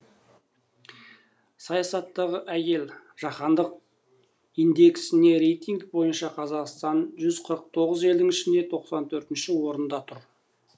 саясаттағы әйел жаһандық индексінде рейтинг бойынша қазақстан жүз қырық тоғыз елдің ішінде тоқсан төртінші орында тұр